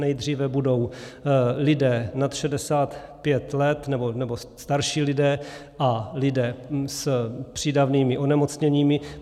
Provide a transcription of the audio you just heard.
Nejdříve budou lidé nad 65 let, nebo starší lidé, a lidé s přídavnými onemocněními.